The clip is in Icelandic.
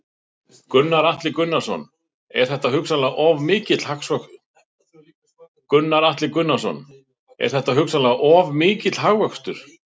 Gunnar Atli Gunnarsson: Er þetta hugsanlega of mikill hagvöxtur?